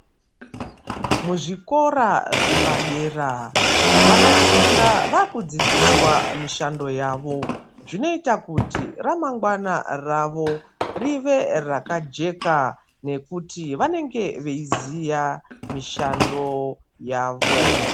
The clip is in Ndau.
Muzvikora zvepadera vanofunda vava kudzidziswa mishando yavo zvinoita kuti ramangwana ravo rive rakajeka nekuti vanenge veyiziya mishando yavo.